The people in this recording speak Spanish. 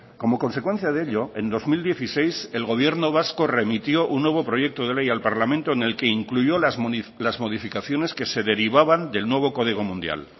como consecuencia de ello en dos mil dieciséis el gobierno vasco remitió un nuevo proyecto de ley al parlamento en el que incluyó las modificaciones que se derivaban del nuevo código mundial